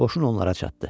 Qoşun onlara çatdı.